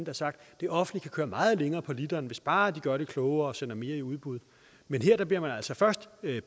har sagt at det offentlige kan køre meget længere på literen hvis bare de gør det klogere og sender mere i udbud men her bliver man altså først